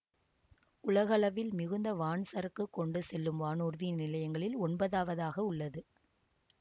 உலகளவில் மிகுந்த வான் சரக்கு கொண்டு செல்லும் வானூர்தி நிலையங்களில் ஒன்பதாவதாக உள்ளது